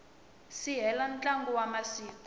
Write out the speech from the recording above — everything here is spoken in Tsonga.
si hela ntlhanu wa masiku